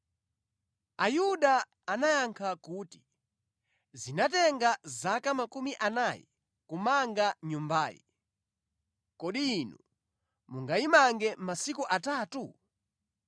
Ayuda anayankha kuti, “Zinatenga zaka makumi anayi kumanga Nyumbayi, kodi Inu mungayimange masiku atatu?”